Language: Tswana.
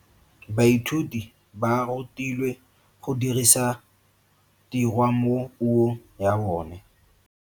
Baithuti ba rutilwe go dirisa tirwa mo puong ya bone.